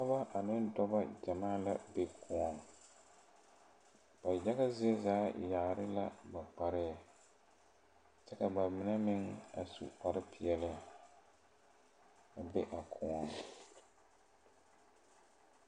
Pɔɔbɔ ane dɔbɔ gyamaa la be kõɔŋ ba yaga zie zaa yaare la ba kpareɛɛ ka ba mine meŋ a su kparepeɛɛli be a kõɔŋ.